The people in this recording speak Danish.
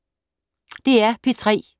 DR P3